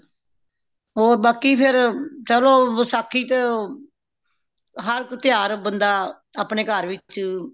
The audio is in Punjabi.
ਹੋਰ ਬਾਕੀ ਫੇਰ ਚਲੋ ਵਸਾਖ਼ੀ ਤੇ ਹਰ ਕੋ ਤਿਉਹਾਰ ਬੰਦਾ ਅਪਣੇ ਘਾਰ ਵਿੱਚ